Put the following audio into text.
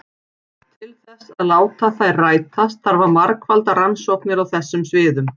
Til þess að láta þær rætast þarf að margfalda rannsóknir á þessum sviðum.